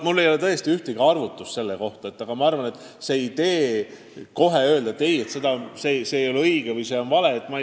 Mul ei ole tõesti ühtegi arvutust selle kohta ja ma ei saa kohe öelda, et see ei ole õige, see on vale.